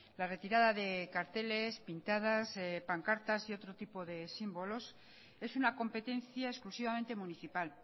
la retirada de carteles pintadas pancartas y otro tipo de símbolos es una competencia exclusivamente municipal